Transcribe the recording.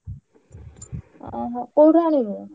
ଓହୋ କୋଉଠୁ ଆଣିବୁ?